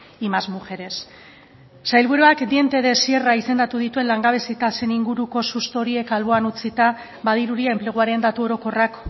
y más mujeres sailburuak dientes de sierra izendatu dituen langabezi tasen inguruko susto horiek alboan utzita badirudi enpleguaren datu orokorrak